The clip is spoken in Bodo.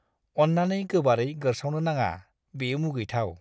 अन्नानै गोबारै गोरसावनो नाङा, बेयो मुगैथाव!